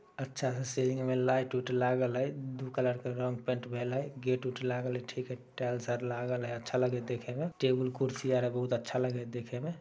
अच्छा है सिल्लिंग में लाइट - उट लागल है। दू कलर के रंग पेंट भेल है ।गेट -उट लगाल हेय ठीक है । टाइल्स आर लागल हेय । अच्छा लगे हय देखे में । टेबुल - कुर्सी आर हेय बहुत अच्छा लगे है देखे में ।